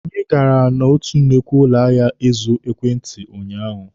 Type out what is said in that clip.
Anyị gara n'otu nnukwu ụlọ ahịa ịzụ ekwentị unyaahụ.